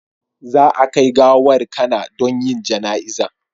Za a kai gawar Kana don yin jana'izan